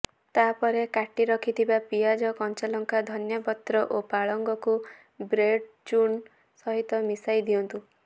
ତାପରେ କାଟି ରଖିଥିବା ପିଆଜ କଞ୍ଚାଲଙ୍କା ଧନିଆ ପତ୍ର ଓ ପାଳଙ୍ଗକୁ ବ୍ରେଡ ଚୁର୍ଣ୍ଣ ସହିତ ମିଶାଇ ଦିଅନ୍ତୁ